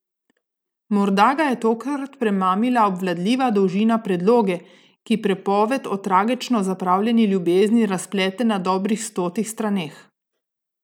Morda ga je tokrat premamila obvladljiva dolžina predloge, ki pripoved o tragično zapravljeni ljubezni razplete na dobrih stotih straneh?